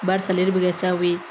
Barisa ale de bɛ kɛ sababu ye